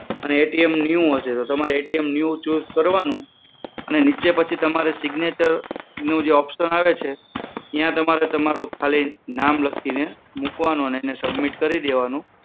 અને A T M new હશે તો new use કરવાનું નીચે પછી તમારે signature નો જે option આવે છે ત્યાં તમારે તમારું ખાલી નામ લખીને એને submit કરી દેવાનું